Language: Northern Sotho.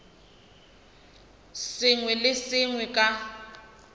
sengwe le se sengwe ka